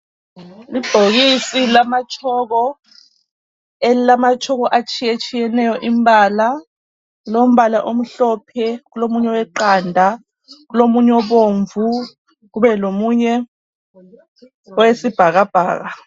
Ibhokisi lama chalk elilama chalk atshiye tshiyeneyo imbala, kulombala omhlophe kulomunye oweqanda kulomunye obomvu kube lomunye owesibhaka bhaka.